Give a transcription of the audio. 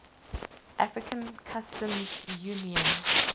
african customs union